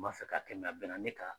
N b'a fɛ ka kɛ, nga bɛnna ne ka